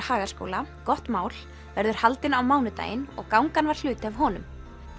Hagaskóla gott mál verður haldinn á mánudaginn og gangan var hluti af honum